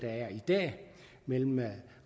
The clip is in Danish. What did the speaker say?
er i dag mellem